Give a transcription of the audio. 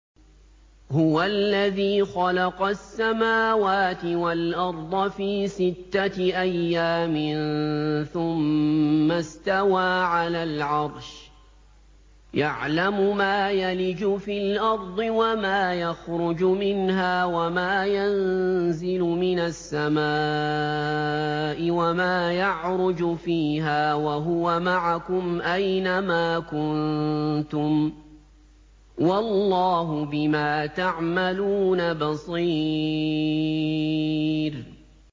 هُوَ الَّذِي خَلَقَ السَّمَاوَاتِ وَالْأَرْضَ فِي سِتَّةِ أَيَّامٍ ثُمَّ اسْتَوَىٰ عَلَى الْعَرْشِ ۚ يَعْلَمُ مَا يَلِجُ فِي الْأَرْضِ وَمَا يَخْرُجُ مِنْهَا وَمَا يَنزِلُ مِنَ السَّمَاءِ وَمَا يَعْرُجُ فِيهَا ۖ وَهُوَ مَعَكُمْ أَيْنَ مَا كُنتُمْ ۚ وَاللَّهُ بِمَا تَعْمَلُونَ بَصِيرٌ